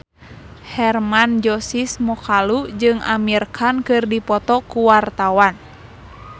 Hermann Josis Mokalu jeung Amir Khan keur dipoto ku wartawan